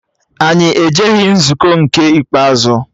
Anyị ejeghị nzukọ nke ikpeazụ